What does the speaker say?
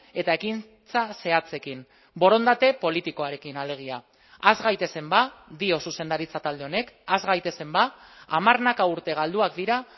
eta ekintza zehatzekin borondate politikoarekin alegia has gaitezen dio zuzendaritza talde honek has gaitezen ba hamarnaka urte galduak dira